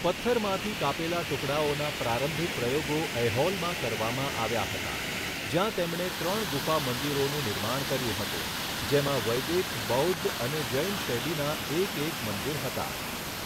પથ્થરમાંથી કાપેલા ટુકડાઓના પ્રારંભિક પ્રયોગો ઐહોલમાં કરવામાં આવ્યા હતા, જ્યાં તેમણે ત્રણ ગુફા મંદિરોનું નિર્માણ કર્યું હતું, જેમાં વૈદિક, બૌદ્ધ અને જૈન શૈલીના એક એક મંદિર હતા.